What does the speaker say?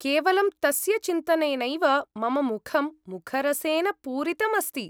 केवलं तस्य चिन्तनेनैव मम मुखं मुखरसेन पूरितम् अस्ति।